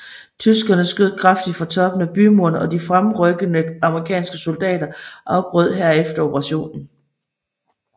Tyskerne skød kraftigt fra toppen af bymuren og de fremrykkende amerikanske soldater afbrød herefter operationen